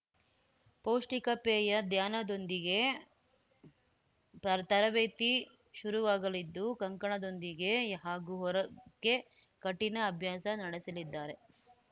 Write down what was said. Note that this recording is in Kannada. ಪೌಷ್ಟಿಕ ಪೇಯ ಧ್ಯಾನದೊಂದಿಗೆ ತರ್ ತರಬೇತಿ ಶುರುವಾಗಲಿದ್ದು ಕಂಕಣದೊಂದಿಗೆ ಹಾಗೂ ಹೊರಗೆ ಕಠಿಣ ಅಭ್ಯಾಸ ನಡೆಸಲಿದ್ದಾರೆ